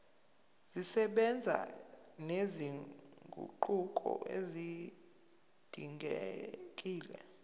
zisebenza nezinguquko ezidingekile